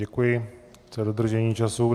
Děkuji za dodržení času.